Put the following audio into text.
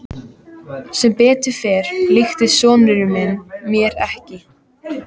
Sem betur fór líktist sonur minn mér ekki.